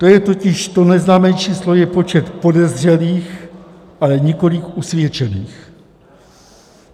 To je totiž, to neznámé číslo je počet podezřelých, ale nikoliv usvědčených.